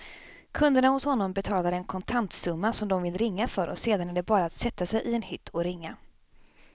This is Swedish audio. Kunderna hos honom betalar en kontantsumma som de vill ringa för och sedan är det bara att sätta sig i en hytt och ringa.